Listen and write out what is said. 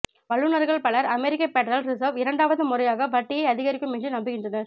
வல்லுனர்கள் பலர் அமெரிக்கப் பெடரல் ரிசர்வ் இரண்டாவது முறையாக வட்டியை அதிகரிக்கும் என்று நம்புகின்றனர்